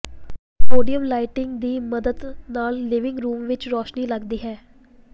podium lighting ਦੀ ਮਦਦ ਨਾਲ ਲਿਵਿੰਗ ਰੂਮ ਵਿੱਚ ਰੋਸ਼ਨੀ ਲਗਦੀ ਹੈ